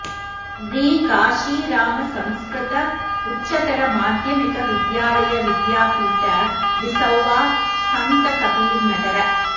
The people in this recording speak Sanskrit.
री काशीराम संस्कृत उच्चतर माध्यमिक विद्यालय विद्यापीठ बिसौवा संतकबीरनगर